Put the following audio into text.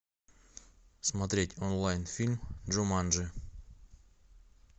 смотреть онлайн фильм джуманджи